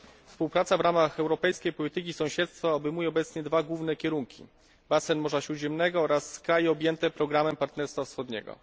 Współpraca w ramach Europejskiej Polityki Sąsiedztwa obejmuje obecnie dwa główne kierunki basen Morza Śródziemnego oraz kraje objęte programem Partnerstwa Wschodniego.